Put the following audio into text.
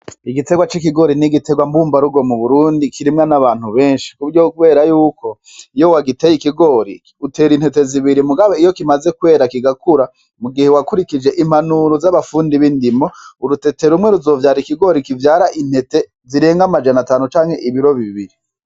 Igiterwa c'ikigori ni igiterwa mbumbarugo mu Burundi kirimwa n'abantu benshi. Ku buryo bwo kubera y'uko iyo wagiteye ikigori, utera intete zibiri mugabo iyo kimaze kwera kigakura, mu gihe wakurikije impanuro z'abafundi b'indimo, urutete rumwe ruzovyara ikigori kivyara intete zirenga amajana atanu canke ibiro bibiri.